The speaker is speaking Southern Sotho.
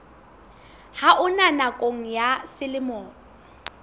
ha ona nakong ya selemo